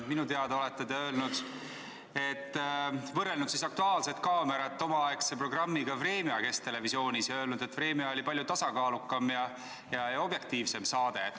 Minu teada olete te võrrelnud "Aktuaalset kaamerat" omaaegse Kesktelevisiooni programmiga "Vremja" ja olete öelnud, et "Vremja" oli palju tasakaalukam ja objektiivsem saade.